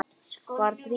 Var Drífa?